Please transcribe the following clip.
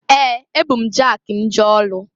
Ee! Ebu m jaki m jee ọlụ.